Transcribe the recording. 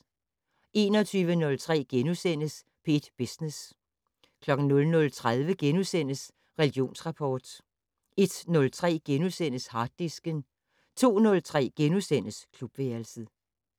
21:03: P1 Business * 00:30: Religionsrapport * 01:03: Harddisken * 02:03: Klubværelset *